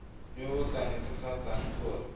yo o tla netefatsang gore